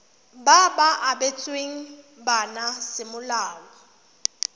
ba ba abetsweng bana semolao